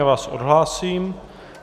Já vás odhlásím.